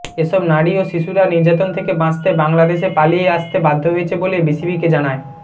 এসব নারী ও শিশুরা নির্যাতন থেকে বাঁচতে বাংলাদেশে পালিয়ে আসতে বাধ্য হয়েছে বলে বিবিসিকে জানায়